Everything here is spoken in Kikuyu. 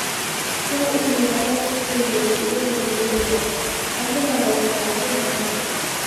Kwa ihinda rĩa ciumia igĩrĩ iria irũmĩrĩire. Andũ magaikara thĩ hamwe.